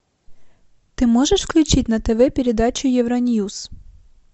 ты можешь включить на тв передачу евроньюс